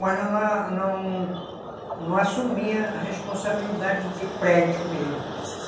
Mas eu não não assumia a responsabilidade de prédio mesmo, hum.